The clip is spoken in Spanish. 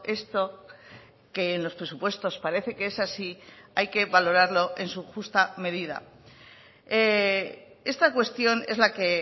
esto que en los presupuestos parece que es así hay que valorarlo en su justa medida esta cuestión es la que